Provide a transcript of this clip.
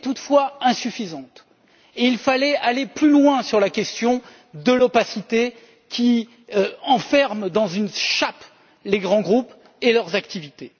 Elle était toutefois insuffisante et il fallait aller plus loin sur la question de l'opacité qui enferme dans une chape les grands groupes et leurs activités.